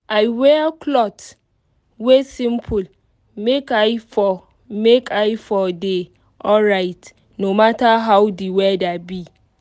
i wear clot wey simple make i for make i for dey alryt no matter how the whether be